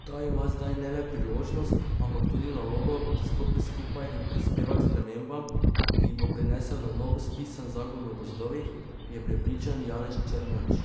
Ta ima zdaj ne le priložnost, ampak tudi nalogo, da stopi skupaj in prispeva k spremembam, ki jih bo prinesel na novo spisan zakon o gozdovih, je prepričan Janez Črnač.